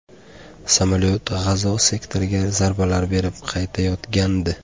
Samolyot G‘azo sektoriga zarbalar berib qaytayotgandi.